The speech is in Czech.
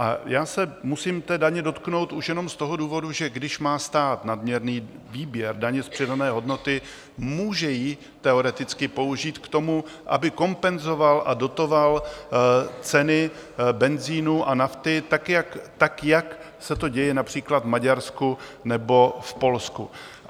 A já se musím té daně dotknout už jenom z toho důvodu, že když má stát nadměrný výběr daně z přidané hodnoty, může ji teoreticky použít k tomu, aby kompenzoval a dotoval ceny benzinu a nafty, tak jak se to děje například v Maďarsku nebo v Polsku.